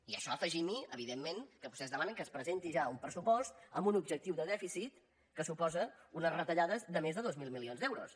i a això afegim·hi evidentment que vostès demanen que es presenti ja un pressupost amb un objectiu de dèficit que suposa unes retallades de més de dos mil milions d’euros